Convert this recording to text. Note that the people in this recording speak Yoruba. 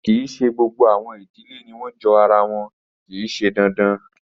Kii ṣe gbogbo awọn idile ni wọn jo ara wọn, kii ṣe dandan